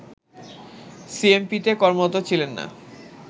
সিএমপিতে কর্মরত ছিলেন না